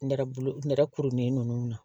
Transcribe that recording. Nɛrɛ bolo nɛrɛ kurunin nunnu na